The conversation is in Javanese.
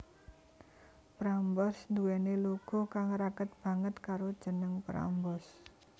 Prambors nduweni logo kang raket banget karo jeneng Prambors